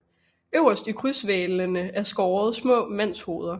Øverst i krydshvælvene er skåret små mandshoveder